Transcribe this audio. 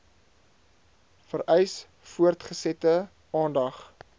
vereis voortgesette aandag